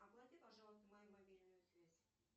оплати пожалуйста мою мобильную связь